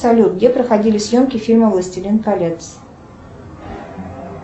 салют где проходили съемки фильма властелин колец